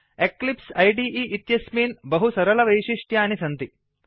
Eclipse इदे इत्यस्मिन् बहुसरलवैषिष्ट्यानि सन्ति